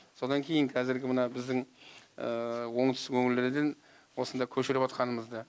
содан кейін қазіргі мына біздің оңтүстік өңірлерден осында көшіріп жатқанымызды